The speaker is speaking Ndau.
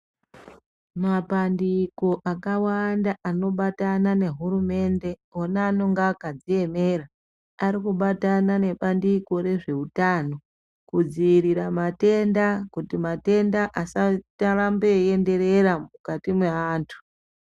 Mapandiko akawanda anobatana nehurumende ona anenge akadziemera arikubatana nebandiko rezvehutano kudzivirira matenda kuti matenda asaramba eienderera mukati mevantu.